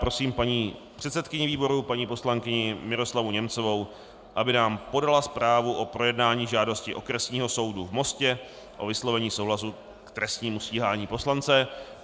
Prosím paní předsedkyni výboru, paní poslankyni Miroslavu Němcovou, aby nám podala zprávu o projednání žádosti Okresního soudu v Mostě o vyslovení souhlasu k trestnímu stíhání poslance.